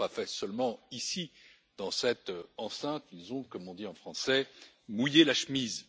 Ils ne l'ont pas fait seulement ici dans cette enceinte, ils ont, comme on dit en français, mouillé la chemise.